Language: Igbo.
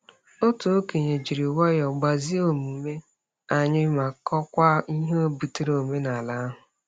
Otu okenye jiri nwayọọ gbazie omume anyị, ma kọwakwa ihe butere omenala ahụ.